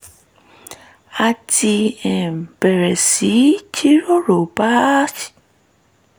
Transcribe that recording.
a ti um bẹ̀rẹ̀ sí í jíròrò bá a